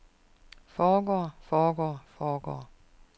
foregår foregår foregår